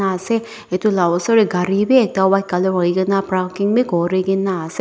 ase etu lah oshor gari bhi ekta white colour hoi ke na praking bhi kuri ki na ase.